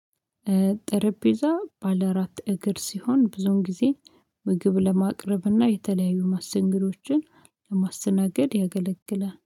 ጠረጴዛ ባለ አራት እግር ሲሆን ብዙን ጊዜ ምግብ ለማቅረብና የተለያዩ ማስተንገዶችን ለማስናገድ ያገለግላል